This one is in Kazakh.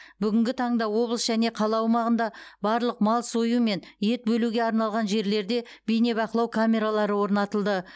бүгінгі таңда облыс және қала аумағында барлық мал сою мен ет бөлуге арналған жерлерде бейнебақылау камералары орнатылды